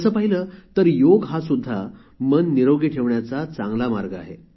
तसे पाहिले तर योग हा सुद्धा मन निरोगी ठेवण्याचा चांगला मार्ग आहे